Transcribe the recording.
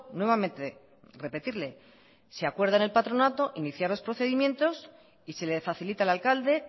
nuevamente repetirle se acuerdan en el patronato inicia los procedimientos y se le facilita al alcalde